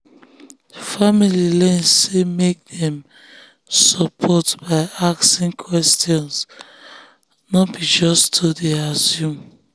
family learn say make dem support by asking questions no be just to dey assume.